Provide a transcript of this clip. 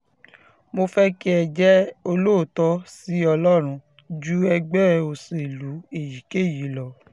mo fẹ́ kí ẹ jẹ́ olóòótọ́ sí ọlọ́run ju ẹgbẹ́ òṣèlú èyíkéyìí lọ